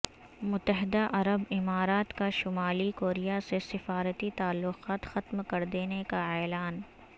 متحدہ عرب امارات کا شمالی کوریا سے سفارتی تعلقات ختم کردینے کا اعلان